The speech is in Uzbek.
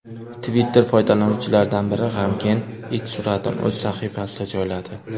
Twitter’ foydalanuvchilaridan biri g‘amgin it suratini o‘z sahifasiga joyladi.